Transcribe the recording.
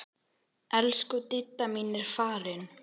Elsku Didda mín er farin.